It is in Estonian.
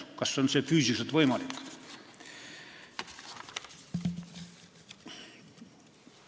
Kas see on füüsiliselt võimalik?